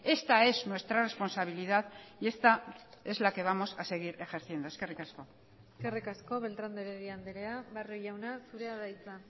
esta es nuestra responsabilidad y esta es la que vamos a seguir ejerciendo eskerrik asko eskerrik asko beltrán de heredia andrea barrio jauna zurea da hitza